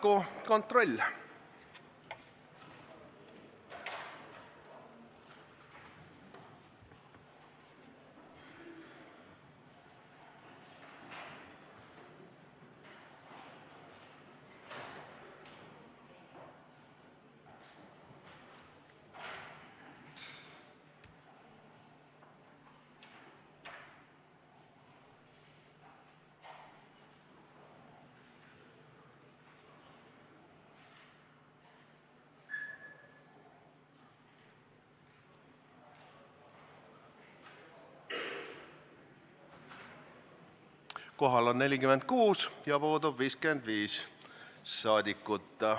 Kohaloleku kontroll Kohal on 46 rahvasaadikut, puudub 55.